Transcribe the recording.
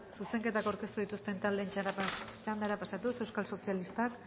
zuzenketak aurkeztu dituzten taldeen txandara pasatuz euskal sozialistak